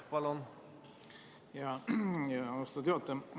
Austatud juhataja!